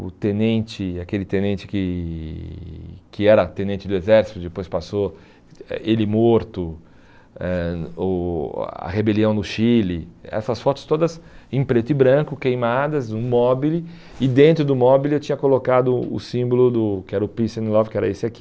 o tenente, aquele tenente que que era tenente do exército, depois passou eh ele morto, eh o a rebelião no Chile, essas fotos todas em preto e branco, queimadas, um mobile, e dentro do mobile eu tinha colocado o símbolo do que era o Peace and Love, que era esse aqui,